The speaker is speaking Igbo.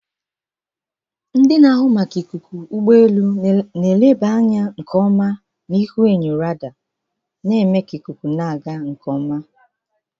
Ndị na-ahụ maka ikuku ụgbọ elu na-eleba anya nke ọma na ihuenyo radar, na-eme ka ikuku na-aga nke ọma.